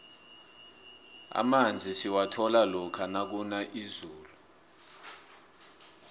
amanzi siwathola lokha kuna izulu